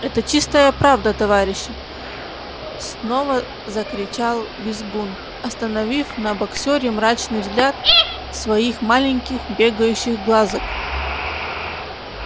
это чистая правда товарищи снова закричал визгун остановив на боксёре мрачный взгляд своих маленьких бегающих глазок